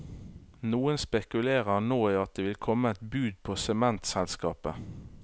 Noen spekulerer nå i at det vil komme et bud på sementselskapet.